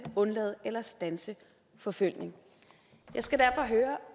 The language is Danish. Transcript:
undlade eller standse forfølgning jeg skal derfor høre